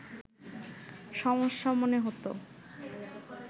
সমস্যা মনে হতো